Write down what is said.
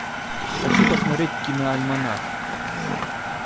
хочу посмотреть киноальманах